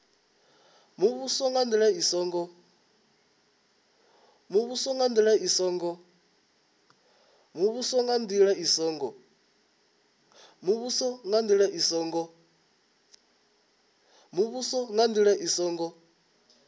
muvhuso nga ndila i songo